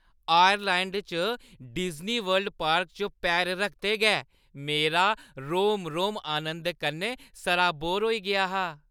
Orleans च Disney World park च पैर रखदे गै मेरा रोम-रोम आनंद कन्नै सराबोर होई गेआ हा ।